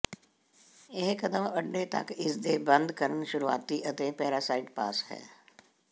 ਇਹ ਕਦਮ ਅੰਡੇ ਤੱਕ ਇਸ ਦੇ ਬੰਦ ਕਰਨ ਸ਼ੁਰੂਆਤੀ ਅਤੇ ਪੈਰਾਸਾਈਟ ਪਾਸ ਹੈ